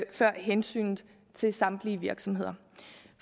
før hensynet til samtlige virksomheder